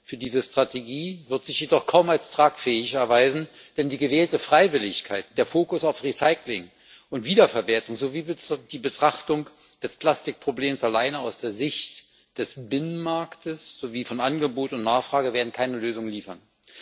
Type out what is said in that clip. für diese Strategie wird sich jedoch kaum als tragfähig erweisen, denn die gewählte Freiwilligkeit, der Fokus auf Recycling und Wiederverwertung sowie die Betrachtung des Plastikproblems allein aus der Sicht des Binnenmarkts sowie von Angebot und Nachfrage werden keine Lösung liefern.